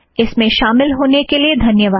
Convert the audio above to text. इसमें शामिल होने के लिए धन्यवाद